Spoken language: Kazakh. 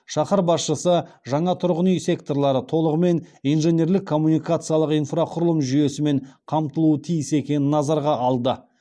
шаһар басшысы жаңа тұрғын үй секторлары толығымен инженерлік коммуникациялық инфрақұрылым жүйесімен қамтылуы тиіс екенін назарға алды